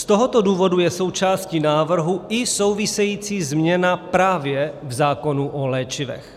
Z tohoto důvodu je součástí návrhu i související změna právě v zákonu o léčivech.